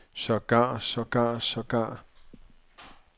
sågar sågar sågar